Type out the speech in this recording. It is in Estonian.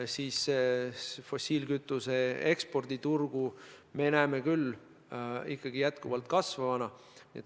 Ja nii me peame fossiilkütuse ekspordi turgu ikkagi jätkuvalt kasvavaks.